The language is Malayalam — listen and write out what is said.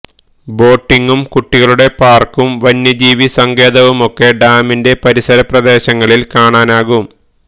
ബോട്ടിംഗും കുട്ടികളുടെ പാര്ക്കും വന്യജീവി സങ്കേതവുമൊക്കെ ഡാമിന്റെ പരിസര പ്രദേശങ്ങളില് കാണാനാകും